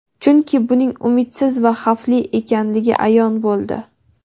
chunki buning umidsiz va xavfli ekanligi ayon bo‘ldi.